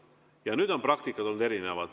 Edasi on praktika olnud erinev.